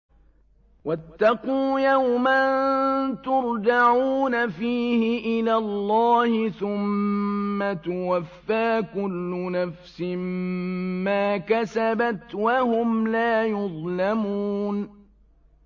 وَاتَّقُوا يَوْمًا تُرْجَعُونَ فِيهِ إِلَى اللَّهِ ۖ ثُمَّ تُوَفَّىٰ كُلُّ نَفْسٍ مَّا كَسَبَتْ وَهُمْ لَا يُظْلَمُونَ